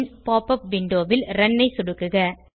பின் pop up விண்டோவில் run ஐ சொடுக்குக